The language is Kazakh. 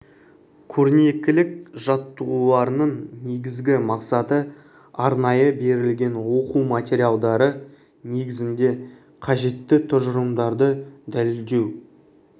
көрнекілік жаттығуларының негізгі мақсаты арнайы берілген оқу материалдары негізінде қажетті тұжырымдарды дәлелдеу